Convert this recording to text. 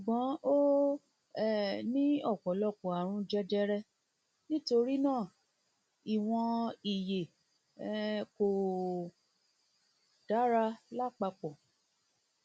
ṣùgbọn ó um ní ọpọlọpọ àrùn jẹjẹrẹ nítorí náà ìwọn ìyè um kò dára lápapọ